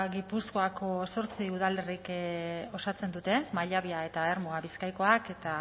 gipuzkoako zortzi udalerrik osatzen dute mallabia eta ermua bizkaikoak eta